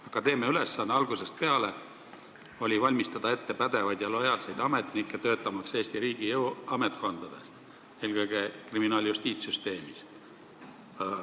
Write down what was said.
Akadeemia ülesanne on algusest peale olnud valmistada ette pädevaid ja lojaalseid ametnikke, kes hakkavad tööle Eesti riigi jõuametkondades, eelkõige kriminaal-justiitssüsteemis.